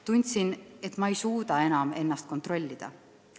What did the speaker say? Tundsin, et ma ei suuda enam ennast kontrollida.